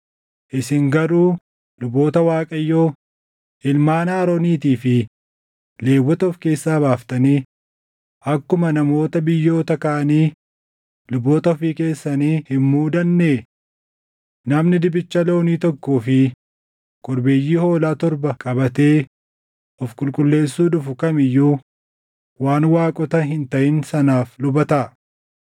Isin garuu luboota Waaqayyoo, ilmaan Arooniitii fi Lewwota of keessaa baaftanii akkuma namoota biyyoota kaanii luboota ofii keessanii hin muudannee? Namni dibicha loonii tokkoo fi korbeeyyii hoolaa torba qabatee of qulqulleessuu dhufu kam iyyuu waan waaqota hin taʼin sanaaf luba taʼa.